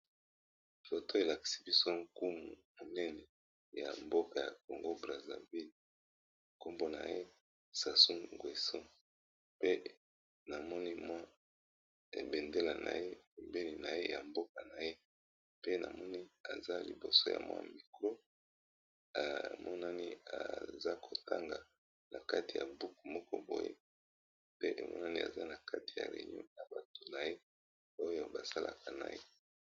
foto elaksi biso nkumu munene ya mboka ya congo brasilville nkombo na ye sason guason pe namoni mwa ebendela na ye mobeni na ye ya mboka na ye pe namoni aza liboso ya mwa mikro emonani aza kotanga na kati ya buoku moko boye pe emonani aza na kati ya reinion na bato na ye oyo basalaka na ye